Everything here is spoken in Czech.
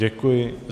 Děkuji.